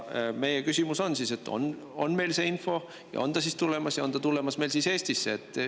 Meie küsimus on, et kas meil on see info ja kas sõda on tulemas ja tulemas just meile Eestisse.